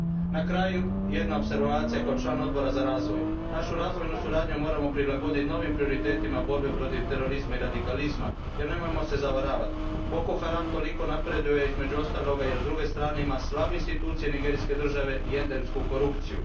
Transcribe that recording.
Na kraju, jedna moja opservacija kao člana Odbora za razvoj našu razvojnu suradnju moramo prilagoditi novim prioritetima borbe protiv terorizma i radikalizma, jer nemojmo se zavaravati, Boko Haram toliko napreduje između ostalog jer su s druge strane slabe institucije nigerijske države i endemska korupcija.